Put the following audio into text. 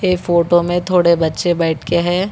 ये फोटो में थोड़े बच्चे बैठके है।